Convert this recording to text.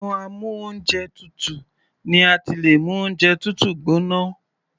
Inú amú oúnjẹ tutù ni a ti lè mú oúnjẹ tútù gbóná.